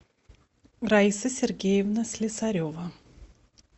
раиса сергеевна слесарева